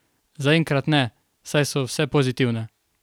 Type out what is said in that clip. Zaenkrat ne, saj so vse pozitivne.